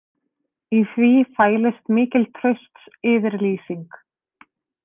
Í því fælist mikil traustsyfirlýsing